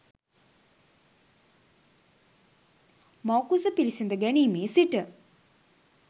මව්කුස පිළිසිඳ ගැනීමේ සිට